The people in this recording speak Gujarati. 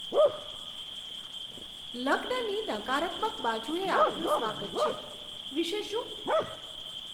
"લગ્નની નકારાત્મક બાજુએ આપનું સ્વાગત છે" વિશે શું?